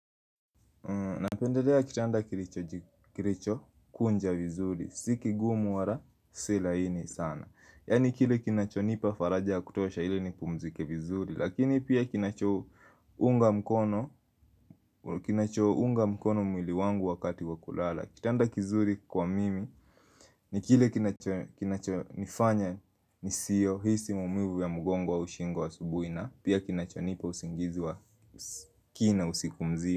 Na pendelea kitanda kilicho kunja vizuri, si kigumu wala si laini sana. Yaani kile kinacho nipa faraja kutosha ili nipumzike vizuri. Lakini pia kinacho unga mkono, kinacho unga mkono mwili wangu wakati wa kulala. Kitanda kizuri kwa mimi, ni kile kinacho nifanya nisihisi mumivu ya mgongo au shingo asubuhi na pia kinacho nipa usingizi wa kina usiku mzima.